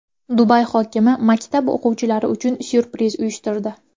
Dubay hokimi maktab o‘quvchilari uchun syurpriz uyushtirdi.